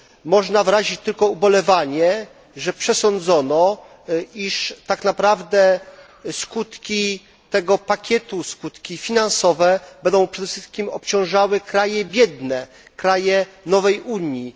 Można wyrazić tylko ubolewanie, że przesądzono, iż tak naprawdę skutki tego pakietu, skutki finansowe, będą przede wszystkim obciążały kraje biedne, kraje nowej Unii.